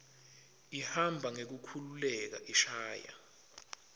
ihamba ngekukhululeka ishaya